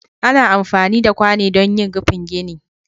ana amfani da kwano don yin rufin gine